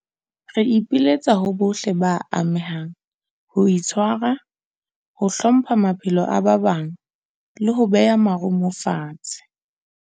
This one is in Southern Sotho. Re ipiletsa ho bohle ba amehang ho itshwara, ho hlompha maphelo a ba bang, leho beha marumo fatshe.